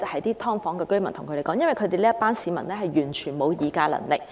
而且，這群居於"劏房"的市民完全沒有議價能力。